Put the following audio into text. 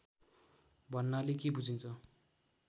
भन्नाले के बुझिन्छ